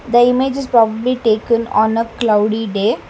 The image is probably taken on a cloudy day.